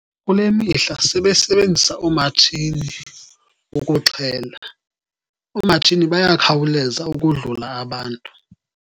Kule mihla sebesebenzisa oomatshini bokuxhela. Oomatshini baya khawuleza ukodlula abantu.